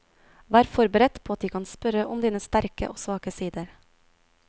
Vær forberedt på at de kan spørre om dine sterke og svake sider.